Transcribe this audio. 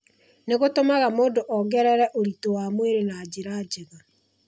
Nĩ gũtũmaga mũndũ ongerere ũritũ wa mwĩrĩ na njĩra njega.